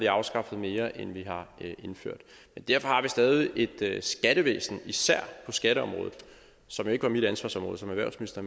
afskaffet mere end vi har indført men derfor har vi stadig især på skatteområdet som jo ikke var mit ansvarsområde som erhvervsminister